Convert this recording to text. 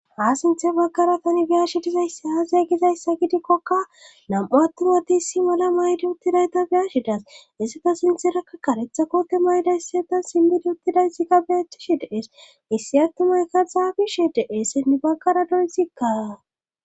Ha sinthe bagkara tani biyashi dizayssi haazaygizayssa gidikkoka nam7u attuwati si mala maydi uttidayta biyashidas issata sinthirakka karetha koote mayda issiata simmidi uttidayssikka beettishi dees issi attumaykka xaabishe deessenni bagara doysikka.